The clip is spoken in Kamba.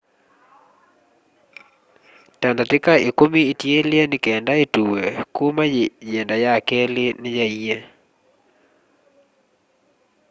ta ndatĩka ĩkũmi itiele nĩkenda ĩtuwe kũma yĩenda ya kelĩ nĩ yaaie